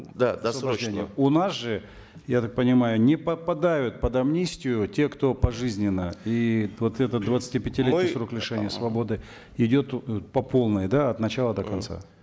да досрочно у нас же я так понимаю не попадают под амнистию те кто пожизненно и вот этот двадцатипятилетний мы срок лишения свободы идет по полной да от начала до конца